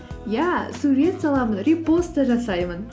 иә сурет саламын репост та жасаймын